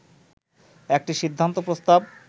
একটি সিদ্ধান্ত প্রস্তাব